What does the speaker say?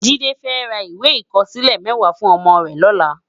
Jide fè rá iwé ikòsilè mèwá fún òmò rè lòlá